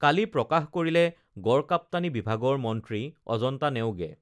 কালি প্ৰকাশ কৰিলে গড়কাপ্টানী বিভাগৰ মন্ত্ৰী অজন্তা নেওগে